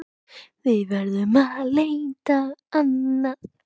Við verðum að leita annað.